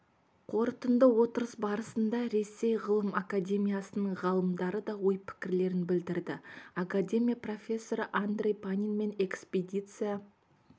қорытынды отырыс барысында ресей ғылым академиясының ғалымдары да ой-пікірлерін білдірді академия профессоры андрей панин мен экспедиция